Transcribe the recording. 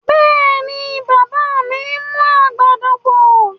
Bẹ́ẹ̀ni, bàbá mi mú àgbàdo bọ̀.